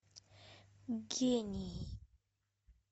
гений